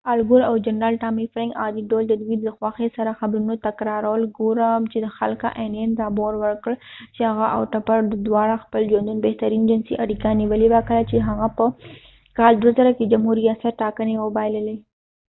الګور او جنرال ټامی فرینک عادي ډول ددوي دي خوښۍ سر خبرونه تکرارول ګور وه چې کله انین رابور ورکړ چې هغه او ټپر د واړو د خپل ژوند بهترین جنسی اړیکه نیولی وه کله چې هغه په کال 2000 کې د جمهوری ریاست ټاکنی وبایللی